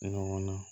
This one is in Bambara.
E ɲɔgɔnna